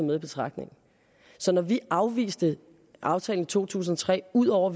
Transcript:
med i betragtning når vi afviste aftalen i to tusind og tre ud over